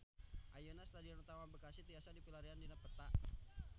Ayeuna Stadion Utama Bekasi tiasa dipilarian dina peta